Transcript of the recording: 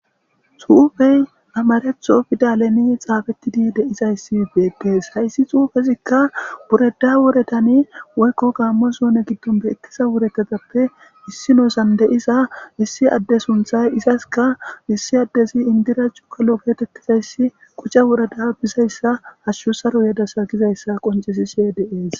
suufey amaretho fidaleni xaafettidi deizayssi beettees hayssi xuufezikka bureda wure tani woykko gaammo soune giddon beettiza wuretetappe issi nosan deiza issi adde sunthay izaska issi addezi indirachchu kalo beetettizayssi quca wureda bizayssa hashshu saro yedasa gizayssa qoncesishe deees